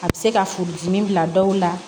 A bɛ se ka furudimi bila dɔw la